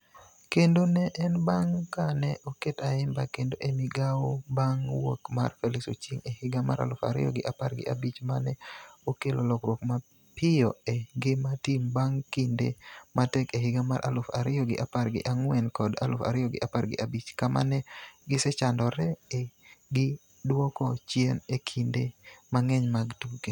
Kendo ne en bang' ka ne oket Ayimba kendo e migawo bang' wuok mar Felix Ochieng e higa mar aluf ariyo gi apar gi abich ma ne okelo lokruok mapiyo e ngima tim bang' kinde matek e higa mar aluf ariyo gi apar gi ang'wen kod aluf ariyo gi apar gi abich, kama ne gisechandore gi duoko chien e kinde mang'eny mag tuke.